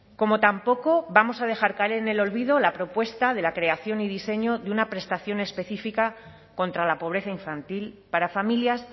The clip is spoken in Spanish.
como tampoco vamos a dejar caer en el olvido la propuesta de la creación y diseño de una prestación específica contra la pobreza infantil para familias